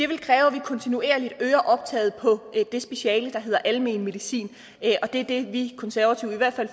vil kræve at vi kontinuerligt øger optaget på det speciale der hedder almen medicin og det er det vi konservative i hvert fald